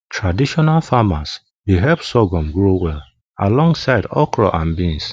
traditional farmers dey help sorghum grow well alongside alongside okra and beans